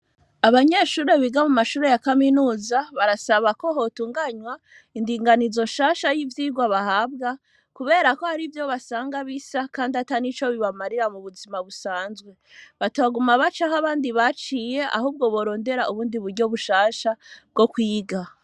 Abanyeshure bo muri kaminuza, barasaba ko hotunganywa indinganizo nshasha y'ivyirwa bahabwa, kubera ko harivyo basanga bisa kandi atanico bibamarira mu buzima busanzwe. Batoguma baca ahabandi baciye, ahubwo borondera ubundi buryo bushasha bwo kwiga.